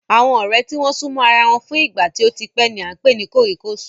Àwọn ọ̀rẹ́ tí wọ́n súnmọ́ ara wọn fún ìgbà tí ó tí pẹ́ ni à ń pè ní ọ̀rẹ́ kòríkòsùn